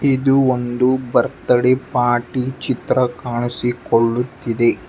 ಇದು ಒಂದು birthday party ಚಿತ್ರ ಕಾಣಿಸಿಕೊಳ್ಳುತ್ತಿದೆ.